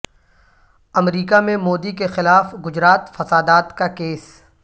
امریکہ میں مودی کے خلاف گجرات فسادات کا کیس